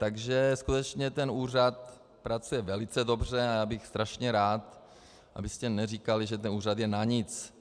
Takže skutečně ten úřad pracuje velice dobře a já bych strašně rád, abyste neříkali, že ten úřad je na nic.